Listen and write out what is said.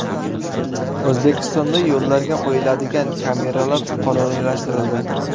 O‘zbekistonda yo‘llarga qo‘yiladigan kameralar qonuniylashtirildi.